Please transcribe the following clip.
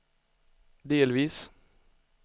delvis